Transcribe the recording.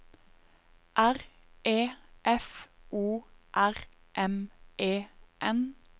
R E F O R M E N